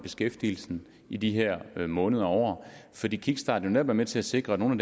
beskæftigelsen i de her måneder og år fordi kickstarten jo netop er med til at sikre at nogle